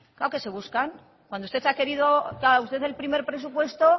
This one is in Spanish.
claro que se buscan cuando usted ha querido claro usted el primer presupuesto